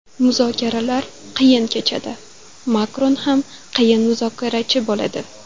Muzokaralar qiyin kechadi, Makron ham qiyin muzokarachi bo‘ladi.